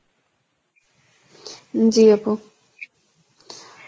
উম জী আপু